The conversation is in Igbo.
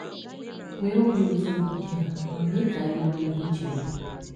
Nwee obi ụtọ na ụdị a ma mee ka anyị mara ihe ị chere.